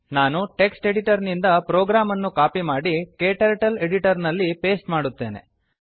ನಾನು text editor ನಿಂದ program ಅನ್ನು ಕಾಪಿ ಮಾಡಿ ಕ್ಟರ್ಟಲ್ ಎಡಿಟರ್ ನಲ್ಲಿ ಪೇಸ್ಟ್ ಮಾಡುತ್ತೇನೆ